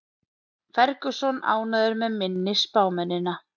Ferguson ánægður með minni spámennina